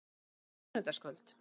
En á sunnudagskvöld?